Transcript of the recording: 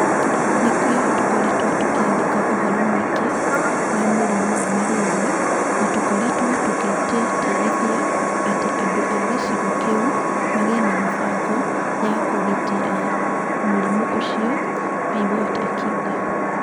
Nĩkĩo tũkoretwo tũkĩandĩka ũhoro mũingĩ wa mũrimũ wa malaria na tũkoretwo tũgĩtĩtĩrithia atĩ andũ a gĩcigo kĩu magĩe na mĩbango ya kũgitĩra mũrimũ ũcio", Biwott oigire.